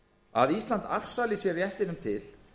að ísland afsali sér réttinum til